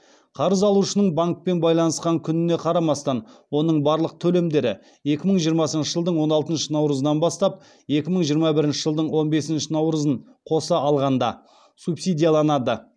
қарыз алушының банкпен байланысқан күніне қарамастан оның барлық төлемдері екі мың жиырмасыншы жылдың он алтыншы наурызынан бастап екі мың жиырма бірінші жылдың он бесінші наурызын қоса алғанда субсидияланады